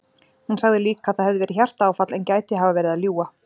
Hún sagði líka að það hefði verið hjartaáfall en gæti hafa verið að ljúga.